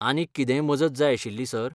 आनीक कितेंय मजत जाय आशिल्ली, सर?